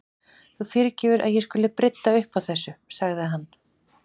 Þú fyrirgefur að ég skuli brydda upp á þessu- sagði hann.